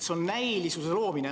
See on näilisuse loomine.